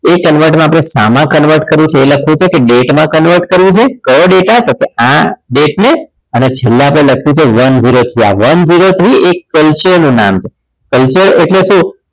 એ convert માં સામા convert કરવું છે એ લખ્યું છે કે date માં convert કરવું છે કયો data તો કે આ date ને અને છેલ્લે આપણે લખ્યું છે one zero three થી આ one zero three culture નું નામ છે culture એટલે